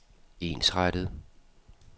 ensrettet